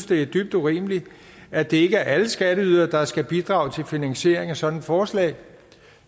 det er dybt urimeligt at det ikke er alle skatteydere der skal bidrage til finansieringen af sådan et forslag